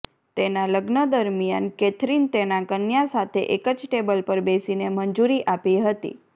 તેના લગ્ન દરમિયાન કેથરિન તેના કન્યા સાથે એક જ ટેબલ પર બેસીને મંજૂરી આપી હતી